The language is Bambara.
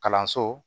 Kalanso